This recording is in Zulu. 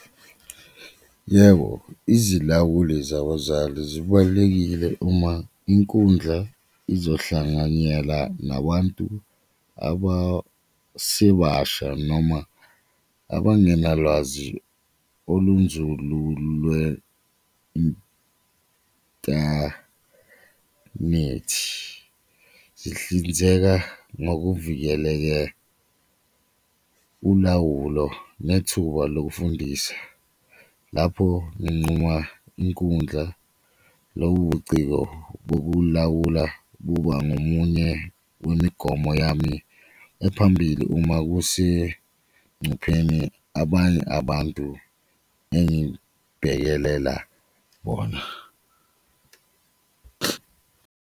Yebo, izilawuli zabazali zibalulekile uma inkundla izohlanganyela nabantu abasebasha noma abangenalwazi olunzulu , zihlinzeka ngokuvikeleke ulawulo nethuba lokufundisa lapho nginquma inkundla, lobo ubuciko bokulawula kuba ngomunye wemigomo yami ephambili uma kusencupheni abanye abantu engibhekelela bona.